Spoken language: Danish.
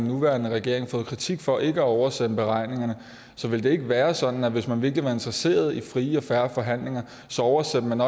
nuværende regering fået kritik for ikke at oversende beregningerne ville det ikke være sådan at hvis man virkelig var interesseret i frie og fair forhandlinger oversendte man